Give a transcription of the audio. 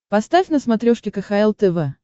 поставь на смотрешке кхл тв